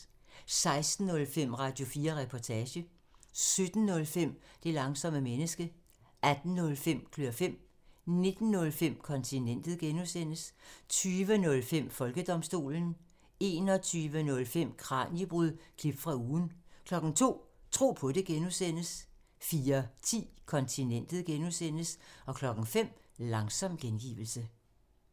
16:05: Radio4 Reportage 17:05: Det langsomme menneske 18:05: Klør fem 19:05: Kontinentet (G) 20:05: Folkedomstolen 21:05: Kraniebrud – klip fra ugen 02:00: Tro på det (G) 04:10: Kontinentet (G) 05:00: Langsom gengivelse